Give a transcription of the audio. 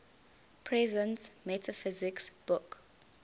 presence metaphysics book